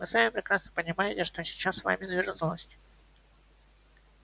вы сами прекрасно понимаете что сейчас вами движет злость